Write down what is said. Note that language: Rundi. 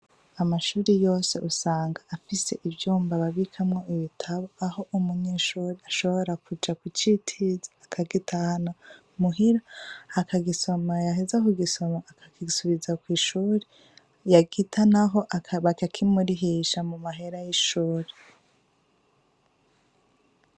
Amashuri yose usanga afise ivyumba ababikamwo ibitabo aho umunyeshuri ashobora kuja ku citirzi akagita hano muhira aka gisoma yaheza ku gisoma akagigsubiza kw'ishuri yagita, naho baka kimurihisha mu mahera y'ishuri a.